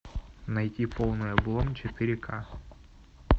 найти полный облом четыре ка